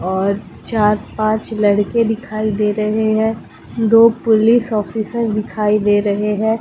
और चार पांच लड़के दिखाई दे रहे हैं दो पोलिस ऑफिसर दिखाई दे रहे हैं।